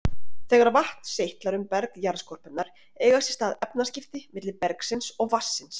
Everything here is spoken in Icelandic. Þegar vatn seytlar um berg jarðskorpunnar eiga sér stað efnaskipti milli bergsins og vatnsins.